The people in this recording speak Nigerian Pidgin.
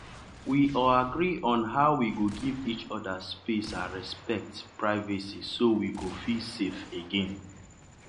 we agree on how we go give each other space and respect privacy so we go feel safe again.